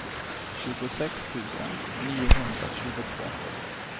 tjugosex tusen niohundratjugotvå